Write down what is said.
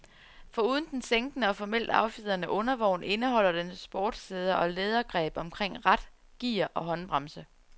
Foruden den sænkede og fornemt affjedrede undervogn indeholder den sportssæder og lædergreb omkring rat, gear og håndbremse.